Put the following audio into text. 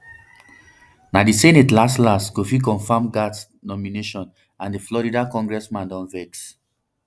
na di senate laslas go fit confam gaetz nomination and di florida congressman don vex